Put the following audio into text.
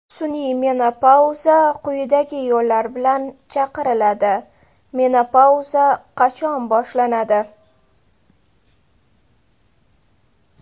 Sun’iy menopauza quyidagi yo‘llar bilan chaqiriladi: Menopauza qachon boshlanadi?